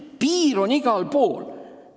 Piir on igal pool.